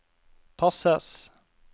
passes